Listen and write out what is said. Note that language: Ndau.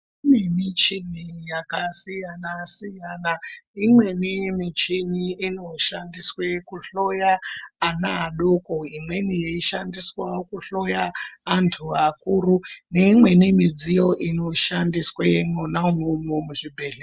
Kune michini yakasiyana siyana imweni michini inoshandiswe kuhloya ana adoko imweni yeishandiswe kuhloya antu akuru neimweni midziyo inoshandiswe mwona umwomwo muzvibhedhlera.